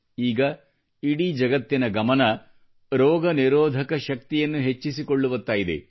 ಈಗ ಇಡೀ ಜಗತ್ತಿನ ಧ್ಯಾನ ರೋಗನಿರೋಧಕ ಶಕ್ತಿಯನ್ನು ಹೆಚ್ಚಿಸಿಕೊಳ್ಳುವತ್ತ ಇದೆ